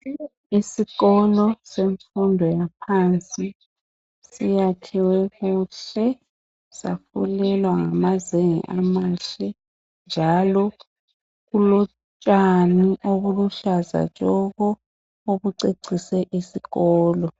Isikolo semfundo yaphansi. Siyakhiwe kuhle, safulelwa ngamazenge amahle njalo kulotshani obuhlaza tshoko obucecise isikolo.